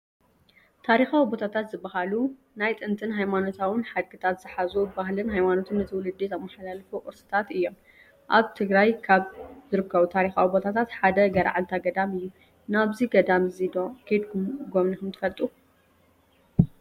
ታሪካዊ ቦታታት ዝባሃሉ ናይ ጥንቲን ሃይማኖታውን ሓድግታት ዝሓዙ ባህልን ሃይማኖትን ንትውልዲ ዘማሓላልፉ ቅርስታት እዮም፡፡ ኣብ ትግራይ ካብ ዝርከቡ ታሪካዊ ቦታታት ሓደ ገርዓልታ ገዳም እዩ፡፡ ናብዚ ገዳም እዚ ዶ ከይድኩም ጋብኒኹም ትፈለጡ?